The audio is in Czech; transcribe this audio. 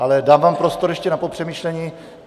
Ale dám vám prostor ještě na popřemýšlení.